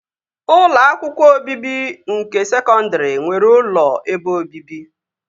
Ụlọ akwụkwọ obibi nke sekọndri nwere ụlọ ebe obibi